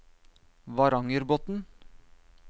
Varangerbotn